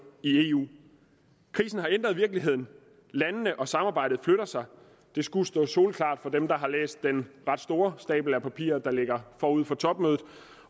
i eu krisen har ændret virkeligheden landene og samarbejdet flytter sig det skulle stå soleklart for dem der har læst den ret store stak af papirer der ligger forud for topmødet